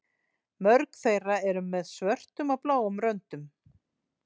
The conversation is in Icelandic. Mörg þeirra eru með svörtum eða bláum röndum.